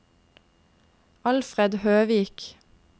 Alfred Høvik